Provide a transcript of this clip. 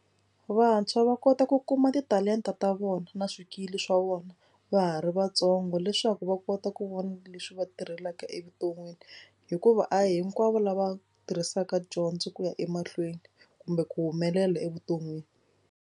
Vantshwa va kota ku kuma titalenta ta vona na swikili swa vona va ha ri vatsongo leswaku va kota ku vona leswi va tirhelaka evuton'wini hikuva a hinkwavo lava tirhisaka dyondzo ku ya emahlweni kumbe ku humelela evuton'wini.